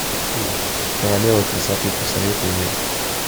королева красоты посоветуй мне